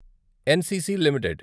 NCC limited